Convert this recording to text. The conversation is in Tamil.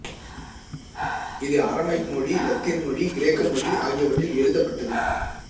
இது அறமைக் மொழி இலத்தீன் மொழி கிரேக்க மொழிஆகியவற்றில் எழுதப்பட்டது